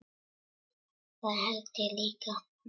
Það held ég líka